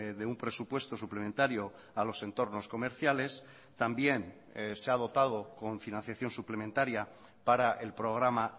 de un presupuesto suplementario a los entornos comerciales también se ha dotado con financiación suplementaria para el programa